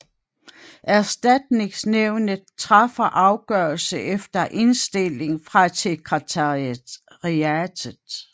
Erstatningsnævnet træffer afgørelse efter indstilling fra sekretariatet